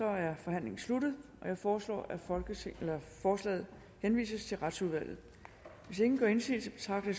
er forhandlingen sluttet jeg foreslår at forslaget henvises til retsudvalget hvis ingen gør indsigelse betragter